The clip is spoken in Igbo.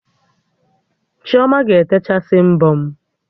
Chioma ga-etechasị mbọ m